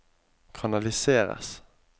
kanaliseres